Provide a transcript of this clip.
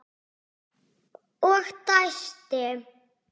Og dæsti.